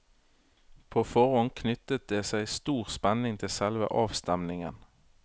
På forhånd knyttet det seg stor spenning til selve avstemningen.